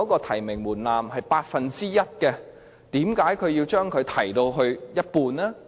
提名門檻本來是 1%， 為何要提高至一半？